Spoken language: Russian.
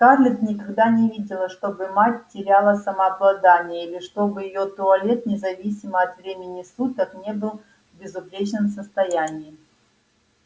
скарлетт никогда не видела чтобы мать теряла самообладание или чтобы её туалет независимо от времени суток не был в безупречном состоянии